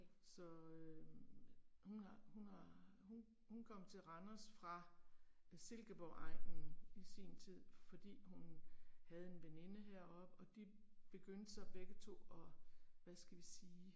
Så øh, hun har, hun har, hun hun kom til Randers fra øh Silkeborgegnen i sin tid, fordi hun havde en veninde heroppe, og de begyndte så begge 2 og, hvad skal vi sige